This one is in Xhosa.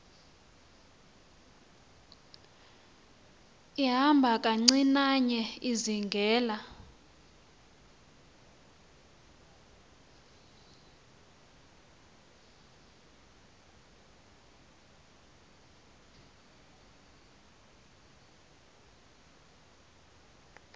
ihamba kancinane izingela